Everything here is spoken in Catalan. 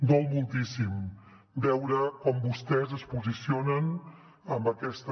dol moltíssim veure com vostès es posicionen amb aquesta